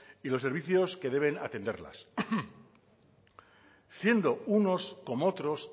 y los servicios que deben de atenderlas siendo unos como otros